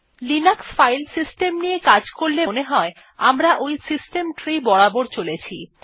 Linux file system নিয়ে কাজ করলে মনে হয় যে আমরা ওই সিস্টেম ট্রি বরাবর চলছি